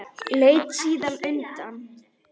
Leit síðan undan.